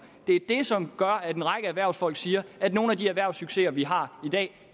det er det som gør at en række erhvervsfolk siger at nogle af de erhvervssucceser vi har i dag